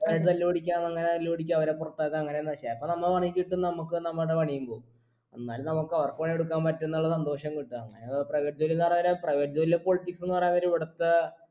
അതായത് തല്ല് പിടിക്കാന്നുള്ളെ തല്ല് പിടിക്ക അവരെ പൊറത്താക്ക അങ്ങനെന്ന് പക്ഷെ അപ്പൊ നമ്മ നമ്മുക്ക് നമ്മുടെ പണിയും പോകും എന്നാലും നമ്മക്ക് അവർക്ക് പണി കൊടുക്കാൻ പറ്റുന്നുള്ള സന്തോഷം കിട്ട അങ്ങനെ private ജോലീന്ന് പറയാൻ നേരം private ജോലീലെ politics ന്ന് പറയാൻ നേരം ഇവിടത്തെ